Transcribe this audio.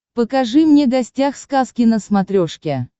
покажи мне гостях сказки на смотрешке